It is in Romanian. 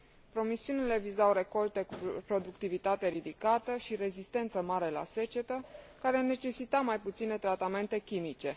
Promisiunile vizau recolte cu productivitate ridicată și rezistență mare la secetă, care necesitau mai puține tratamente chimice.